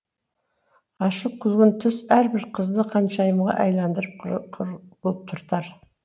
ашық күлгін түс әрбір қызды ханшайымға айландырып құлпыртар